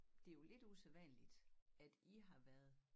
Det jo lidt usædvanligt at i har været